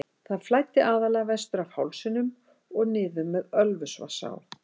Það flæddi aðallega vestur af hálsinum og niður með Ölfusvatnsá.